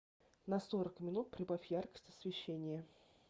на сорок минут прибавь яркость освещения